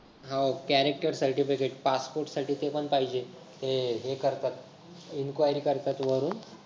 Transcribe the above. हो character certificate passport साठी ते पण पाहिजे ते हे enquiry करतात वरून